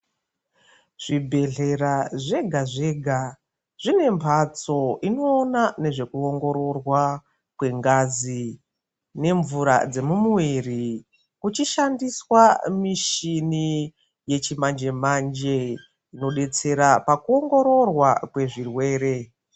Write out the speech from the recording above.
Zvibhedhlera zvega zvega zvine mbatso inoona nezvekuongororwa kwengazi nemvura dzemumuviri kuchishandiswa yechimanje manje inodetsera pakuongororwa pezvirwere.